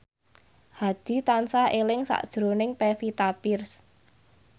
Hadi tansah eling sakjroning Pevita Pearce